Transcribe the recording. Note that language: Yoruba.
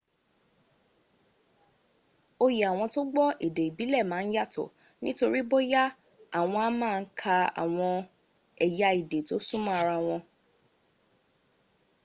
oyè àwọn tó gbọ́ èdè ìbílẹ̀ mà n yàtọ̀ ní torí bóyá àwọn a ma n ka àwọn ẹ̀ya èdè to súnmọ́ ara wọ